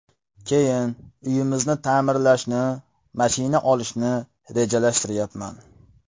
Keyin uyimizni ta’mirlashni, mashina olishni rejalashtiryapman.